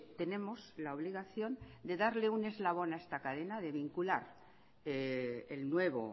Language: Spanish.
tenemos la obligación de darle un eslabón a esta cadena de vincular el nuevo